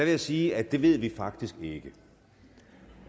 jeg sige at det ved vi faktisk ikke det